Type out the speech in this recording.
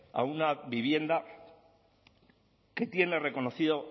a una vivienda que tiene reconocido